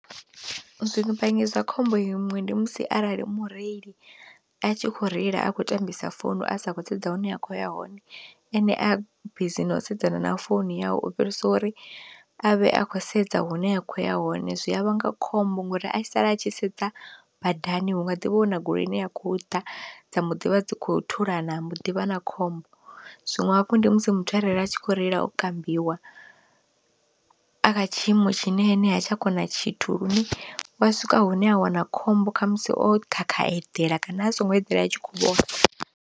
Zwivhangi zwa khombo iṅwe ndi musi arali mureili a tshi kho reila a kho tambisa founu a sa khou sedza hune a khou ya hone, ene a bizi no u sedzana na founu yawe u fhirisa uri a vhe a khou sedza hune a khou ya hone. Zwi a vhanga khombo ngori a sala a tshi sedza badani hunga ḓivha huna goloi ine ya kho ḓa dza mu ḓivha dzi kho thulana mbo ḓi vha na khombo, zwinwe hafhu ndi musi muthu a reile a tshi kho reila o kambiwa a kha tshiimo tshine ene ha tsha kona tshithu lune wa swika hune a wana khombo kha musi o khakha eḓela kana a songo eḓela itshi kho vhona.